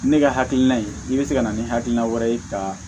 Ne ka hakilina ye i bɛ se ka na ni hakilina wɛrɛ ye ka